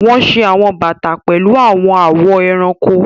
Wọn ṣe awọn bata pẹlu awọn awọ ẹranko.